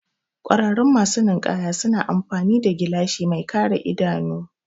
Ƙwararru masu ninkaya suna amfani da gilashi mai kare idanuwa